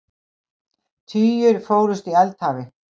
Tugir fórust í eldhafi